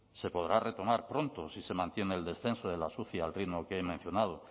se podrá retomar pronto si se mantiene el descenso de las uci al ritmo que he mencionado